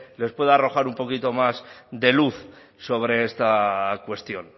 les pueda arrojar un poquito más de luz sobre esta cuestión